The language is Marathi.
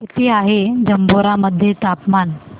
किती आहे जांभोरा मध्ये तापमान